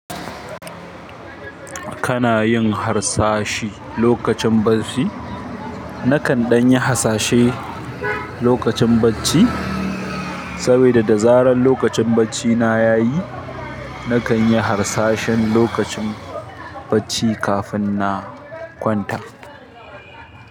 Kana yin harsashi lokacin barci? Nakan ɗan yi hasashe lokacin bacci? Saboda da zarar lokacin baccina yayi, nakan yi harsashe lokacin bacci kafin na kwanta.